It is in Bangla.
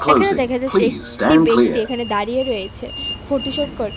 এখানে দেখা যাচ্ছে একটি ব্যক্তি এখানে দাঁড়িয়ে রয়েছে ফটোশুট করছে .